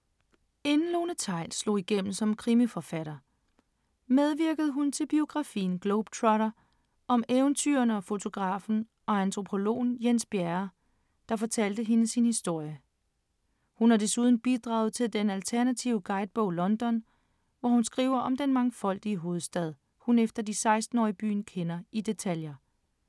Inden Lone Theils slog igennem som krimiforfatter, medvirkede hun til biografien Globetrotter om eventyreren, fotografen og antropologen Jens Bjerre, der fortalte hende sin historie. Hun har desuden bidraget til den alternative guidebog London, hvor hun skriver om den mangfoldige hovedstad, hun efter de 16 år i byen kender i detaljer.